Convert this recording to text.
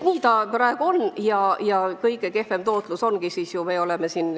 Nii see praegu on ja meie fondide tootlus on väga kehv.